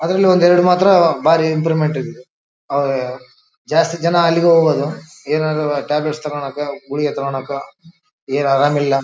ಅದ್ರಲ್ಲೂ ಒಂದ್ ಎರಡ್ ಮಾತ್ರ ಭಾರಿ ಇಂಪ್ರೂವ್ಮೆಂಟ್ ಇದ್ದದು ಅವಾಗ ಜಾಸ್ತಿ ಜನ ಅಲ್ಲಿಗೆ ಹೋಗೋನು ಟ್ಯಾಬ್ಲೆಟ್ ತಗೊಳ್ಳಕ ಗುಳಿಗೆ ತಗೊಳ್ಳಕ ಏನ್ ಆರಾಮ ಇಲ್ಲ --